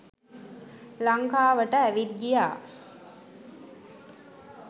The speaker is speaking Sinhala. ලංකාවට ඇවිත් ගියා.